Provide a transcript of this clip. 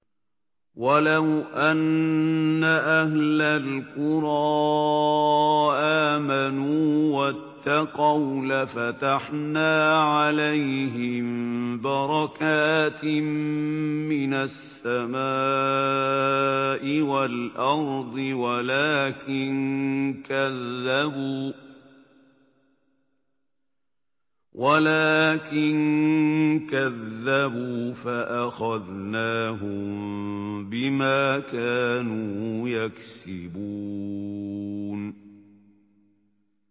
وَلَوْ أَنَّ أَهْلَ الْقُرَىٰ آمَنُوا وَاتَّقَوْا لَفَتَحْنَا عَلَيْهِم بَرَكَاتٍ مِّنَ السَّمَاءِ وَالْأَرْضِ وَلَٰكِن كَذَّبُوا فَأَخَذْنَاهُم بِمَا كَانُوا يَكْسِبُونَ